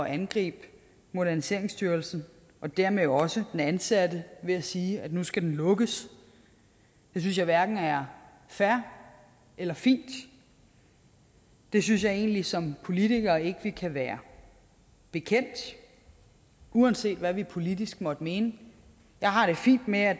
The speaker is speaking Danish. angribe moderniseringsstyrelsen og dermed jo også de ansatte ved at sige at nu skal den lukkes det synes jeg hverken er fair eller fint det synes jeg egentlig som politikere ikke vi kan være bekendt uanset hvad vi politisk måtte mene jeg har det fint med at